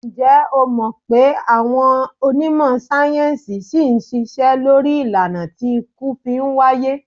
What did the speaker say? Ǹjẹ́ o mọ̀̀ pé àwọn onímọ̀ sáyẹ́ńsì ṣì ń ṣiṣẹ́ lórí ìlànà tí ikú fi ń wáyé?